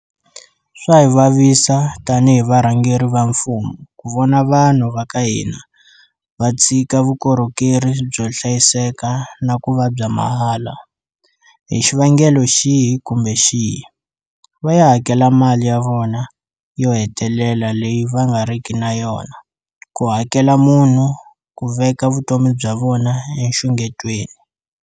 Swa hi vavisa tanihi varhangeri va mfumo ku vona vanhu va ka hina va tshika vukorhokeri byo hlayiseka na ku va bya mahala, hi xivangelo xihi kumbe xihi, va ya hakela mali ya vona yo hetelela leyi va nga riki na yona ku hakela munhu ku veka vutomi bya vona enxungetweni.